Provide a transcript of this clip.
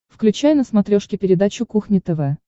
включай на смотрешке передачу кухня тв